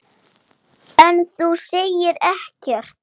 Hann hékk mikið á netinu.